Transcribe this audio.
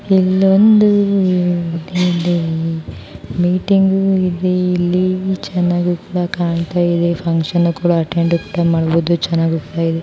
ಇಲ್ಲೊಂದು ಮೀಟಿಂಗ್ ನಡೆದಿದೆ ಚೆನ್ನಾಗಿ ಫಂಕ್ಷನ್ ಕೂಡ ಅಟೆಂಡ್ಮಾ ಡುವುದು ತುಂಬಾ ಚೆನ್ನಾಗಿದೆ